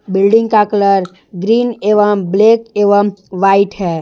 Building का colour green एवं black एवं व्हाइट है।